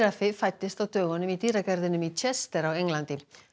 fæddist á dögunum í dýragarðinum í Chester á Englandi